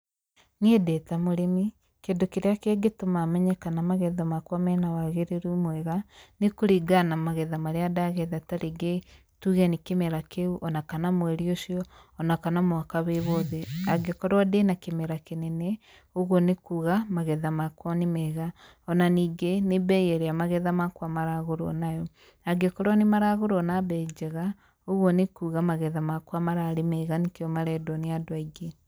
Niĩ ndĩ ta mũrĩmi, kĩndũ kĩrĩa kĩngĩtũma menye kana magetha makwa mena wagĩrĩru mwega nĩ kũringana na magetha marĩa ndagetha ta rĩngĩ tuge nĩ kĩmera kĩu ona kana mweri ũcio, ona kana mwaka wĩ wothe. Angĩkorwo ndĩna kĩmera kĩnene, ũguo nĩ kuga magetha makwa nĩ mega. Ona ningĩ nĩ mbei ĩrĩa magetha makwa maragũrwo nayo, angĩkorwo nĩmaragũrwo na mbei njega, ũguo nĩ kuga magetha makwa mararĩ mega nĩkĩo marendwo nĩ andũ aingĩ.